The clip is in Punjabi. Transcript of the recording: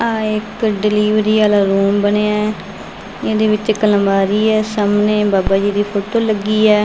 ਆ ਇੱਕ ਡਿਲਵਰੀ ਵਾਲਾ ਰੂਮ ਬਣਿਆ ਇਹਦੇ ਵਿੱਚ ਇੱਕ ਅਲਮਾਰੀ ਆ ਸਾਹਮਣੇ ਬਾਬਾ ਜੀ ਦੀ ਫੋਟੋ ਲੱਗੀ ਆ।